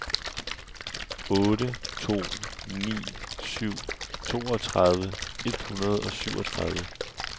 otte to ni syv toogtredive et hundrede og syvogtredive